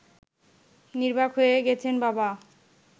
নির্বাক হয়ে গেছেন বাবা